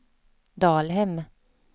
Dalhem